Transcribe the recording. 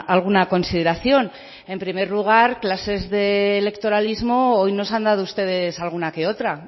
alguna consideración en primer lugar clases de electoralismo hoy nos han dado ustedes alguna que otra